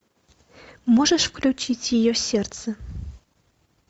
можешь включить ее сердце